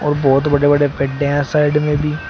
अ बहोत बड़े बड़े पेड्या साइड में भी--